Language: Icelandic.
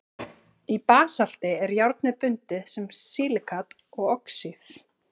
í basalti er járnið bundið sem silíkat og oxíð